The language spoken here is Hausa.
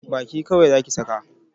Baki kawai Zaki saka!